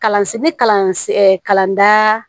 Kalansen kalansi kalanda